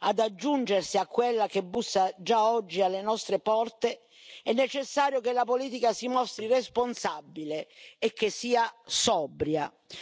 ad aggiungersi a quella che bussa, già oggi, alle nostre porte, è necessario che la politica si mostri responsabile e che sia sobria.